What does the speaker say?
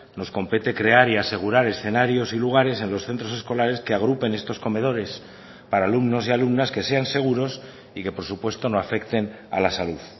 nos compete crear y asegurar escenarios y lugares en los centros escolares que agrupen estos comedores para alumnos y alumnas que sean seguros y que por supuesto no afecten a la salud